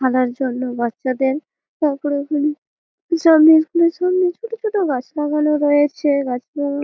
খেলার জন্য বাচ্চাদের তারপরে ওখানে সামনে ইস্কুলের সামনে ছোট ছোট গাছ লাগান রয়েছে গাছের--